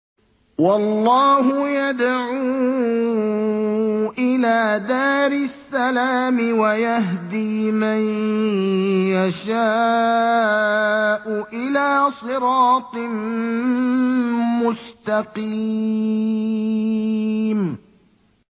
وَاللَّهُ يَدْعُو إِلَىٰ دَارِ السَّلَامِ وَيَهْدِي مَن يَشَاءُ إِلَىٰ صِرَاطٍ مُّسْتَقِيمٍ